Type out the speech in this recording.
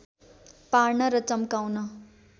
पार्न र च्म्काउन